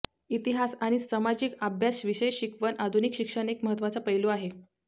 इतिहास आणि सामाजिक अभ्यास विषय शिकवण आधुनिक शिक्षण एक महत्त्वाचा पैलू आहे